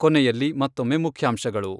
ಕೊನೆಯಲ್ಲಿ ಮತ್ತೊಮ್ಮೆ ಮುಖ್ಯಾಂಶಗಳು.